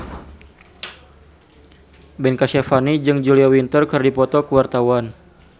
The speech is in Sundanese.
Ben Kasyafani jeung Julia Winter keur dipoto ku wartawan